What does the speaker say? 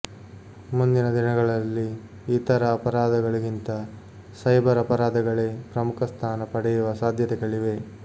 ಮುಂದಿನ ದಿನಗಳಲ್ಲಿ ಇತರ ಅಪರಾಧಗಳಿಗಿಂತ ಸೈಬರ್ ಅಪರಾಧಗಳೇ ಪ್ರಮುಖ ಸ್ಥಾನ ಪಡೆಯುವ ಸಾಧ್ಯತೆಗಳಿವೆ